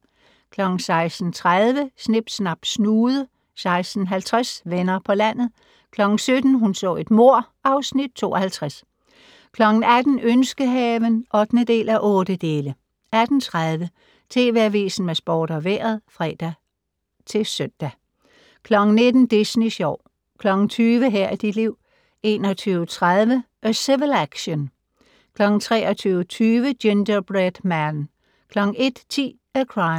16:30: Snip Snap Snude 16:50: Venner på landet 17:00: Hun så et mord (Afs. 52) 18:00: Ønskehaven (8:8) 18:30: TV Avisen med sport og vejret (fre og søn) 19:00: Disney Sjov 20:00: Her er dit liv 21:30: A Civil Action 23:20: Gingerbread Man 01:10: A Crime